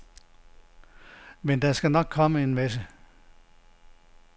Men der skal nok komme en masse.